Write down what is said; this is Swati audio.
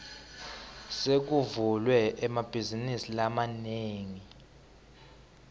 sekuvulwe emabhazinisi lamanengi